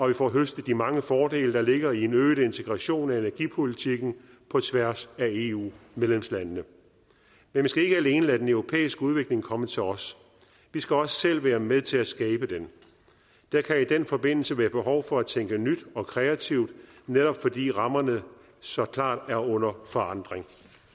vi får høstet de mange fordele der ligger i en øget integration af energipolitikken på tværs af eu medlemslandene men vi skal ikke alene lade den europæiske udvikling komme til os vi skal også selv være med til at skabe den der kan i den forbindelse være behov for at tænke nyt og kreativt netop fordi rammerne så klart er under forandring